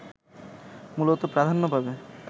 মূলত প্রাধান্য পাবে